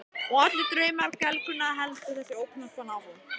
Og allir draumar gelgjunnar, heldur þessi ókunna kona áfram.